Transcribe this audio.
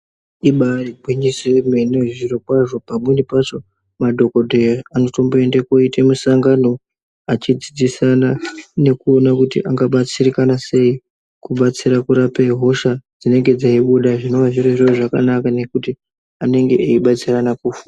Ibaari gwinyiso emene zviro kwazvo pamweni pacho madhokodheya anotombooenda koita musangano achidzidzisana nekuona kuti angabatsirikana sei kubatsira kurape hosha dzinenge dzeibuda zvinenge zvirozvo zvakanangana nekuti anenge eibatsirana kufu.